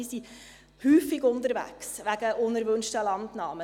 Die Polizei ist häufig unterwegs wegen unerwünschter Landnahmen.